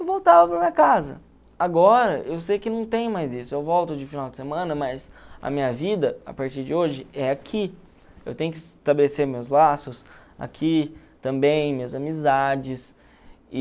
eu voltava para minha casa agora eu sei que não tem mais isso eu volto de final de semana mas a minha vida a partir de hoje é aqui eu tenho que estabelecer meus laços aqui também minhas amizades e